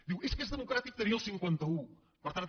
diu és que és democràtic tenir el cinquanta un per tant